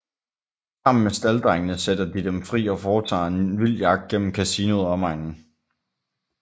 Sammen med stalddrengene sætter de dem fri og foretager en vild jagt gennem kasinoet og omegnen